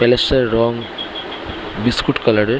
palace এর রং biscuit colour এর --